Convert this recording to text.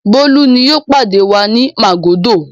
Bólú ni yóò pàdé wa ní Màgódò.